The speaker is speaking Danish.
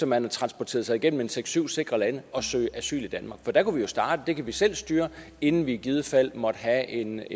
man har transporteret sig igennem seks syv sikre lande at søge asyl i danmark for der kunne vi jo starte det kan vi selv styre inden vi i givet fald måtte have en